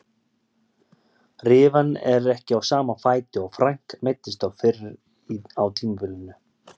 Rifan er ekki á sama fæti og Frank meiddist á fyrr á tímabilinu.